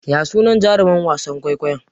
Ya sunan jaruman wasan kwaikwayon?